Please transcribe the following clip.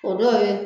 O dɔw ye